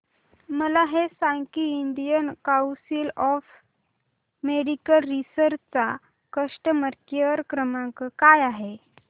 मला हे सांग की Indian council of medical research चा कस्टमर केअर क्रमांक काय आहे